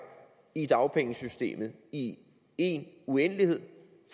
i dagpengesystemet i en uendelighed